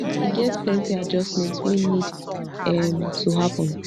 e get plenty adjustment wey need um to happen